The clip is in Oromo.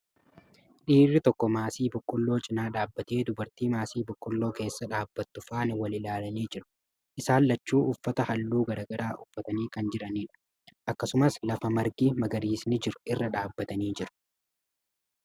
Dhiirri tokko maasii boqqoolloo cinaa dhaabbatee, dubartii maasii boqqoolloo keessa dhaabbattu faana wal ilaalanii jiru. Isaan lachuu uffata haalluu garagaraa uffatanii kan jiraniidha. Akkasumas, lafa margi magariisni jiru irra dhaabbatanii jiru.